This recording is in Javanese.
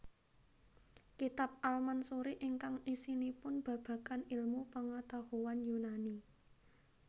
Kitab al Mansuri ingkang isinipun babagan ilmu pangatahuan Yunani